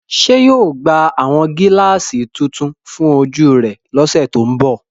Ṣe yóò gba awọn gilaasi tuntun fun oju rẹ lọsẹ to nbọ?